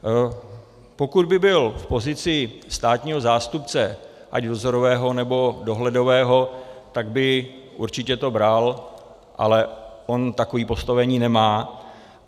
Pokud by byl v pozici státního zástupce, ať vzorového, nebo dohledového, tak by určitě to bral, ale on takové postavení nemá.